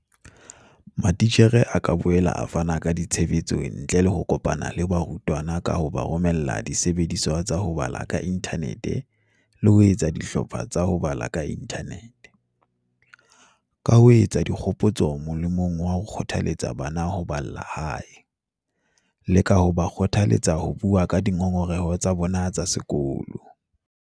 Matitjhere a ka boela a fana ka tshehetso ntle le ho kopana le barutwana ka ho ba romella disebediswa tsa ho bala ka inthanete le ho etsa dihlopha tsa ho bala ka inthanete, ka ho etsa dikgopotso molemong wa ho kgothaletsa bana ho balla hae, le ka ho ba kgothaletsa ho bua ka dingongoreho tsa bona ka sekolo.